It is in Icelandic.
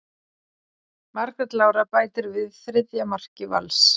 Margrét Lára bætir við þriðja marki Vals.